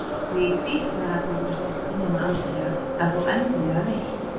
Vigdís þegar allir voru sestir nema Andrea, ef þú endilega vilt